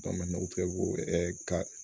n'o fɛ ko ka